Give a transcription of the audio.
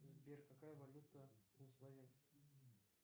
сбер какая валюта у словенцев